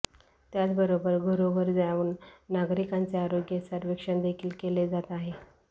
त्याचबरोबर घरोघर जाऊन नागरिकांचे आरोग्य सर्वेक्षण देखील केले जात आहे